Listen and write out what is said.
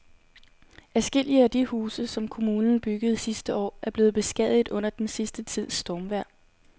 Adskillige af de huse, som kommunen byggede sidste år, er blevet beskadiget under den sidste tids stormvejr.